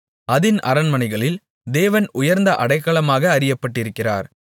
அதின் அரண்மனைகளில் தேவன் உயர்ந்த அடைக்கலமாக அறியப்பட்டிருக்கிறார்